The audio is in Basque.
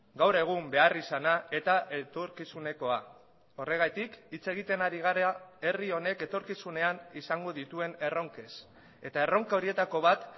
gaur egun beharrizana eta etorkizunekoa horregatik hitz egiten ari gara herri honek etorkizunean izango dituen erronkez eta erronka horietako bat